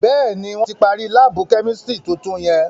Béèni, wọn tí parí laabu kẹ́místrì tuntun yẹn